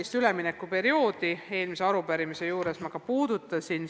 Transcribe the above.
Seda üleminekuperioodi ma eelmise arupärimise juures puudutasin.